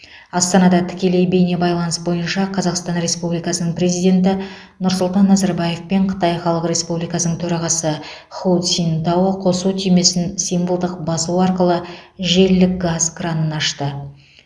астанада тікелей бейнебайланыс бойынша қазақстан республикасының президенті нұрсұлтан назарбаев пен қытай халық республикасының төрағасы ху цзиньтао қосу түймесін символдық басу арқылы желілік газ кранын ашты